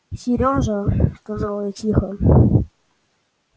сережа сказала я тихо